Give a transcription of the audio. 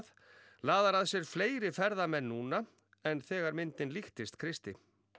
laðar að sér fleiri ferðamenn núna en þegar myndin líktist Kristi